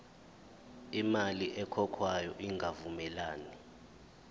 imali ekhokhwayo ingavumelani